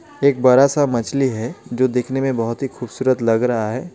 एक बड़ा सा मछली है जो दिखने में बहुत ही खूबसूरत लग रहा है.